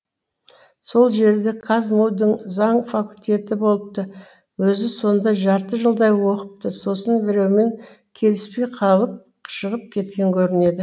сол жерде қазму дің заң факультеті болыпты өзі сонда жарты жылдай оқыпты сосын біреумен келіспей қалып шығып кеткен көрінеді